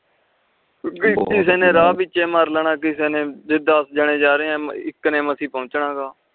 ਕਿਸੇ ਨੇ ਰਾਹ ਵਿਚ ਮਾਰ ਲੈਣਾ ਕਿਸੇ ਨੇ ਜੇ ਦਾਸ ਜਣੇ ਜਾ ਰਹੇ ਆ ਤਾ ਇਕ ਨੇ ਮਾਸੀ ਪਿਓਨਚਨਾ ਆ